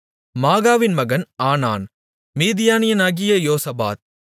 மாகாவின் மகன் ஆனான் மிதினியனாகிய யோசபாத்